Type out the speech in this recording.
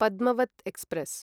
Padmavat express